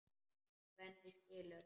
Svenni skilur.